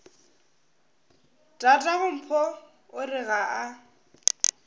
tatagompho o re ga a